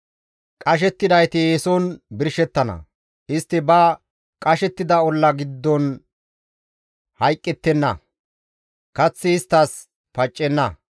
Qashettidayti eeson birshettana; istti ba qashettida olla giddon hayqqettenna; kaththi isttas paccenna.